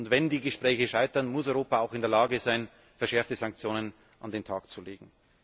Wenn die Gespräche scheitern, muss Europa auch in der Lage sein, verschärfte Sanktionen an den Tag zu legen.